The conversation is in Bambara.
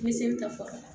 Me seli ta fɔlɔ